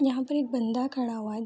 यहाँ पर एक बंदा खड़ा हुआ है।